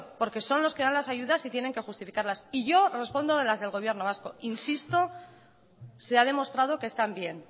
porque son los que dan las ayudas y tienen que justificarlas y yo respondo de las del gobierno vasco insisto se ha demostrado que están bien